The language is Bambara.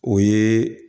O ye